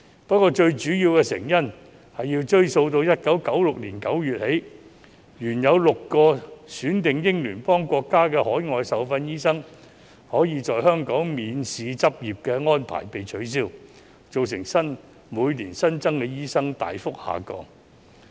不過，最主要的成因要追溯到1996年9月起，原有6個選定英聯邦國家的海外受訓醫生可在香港免試執業的安排被取消，造成每年新增醫生大幅下降。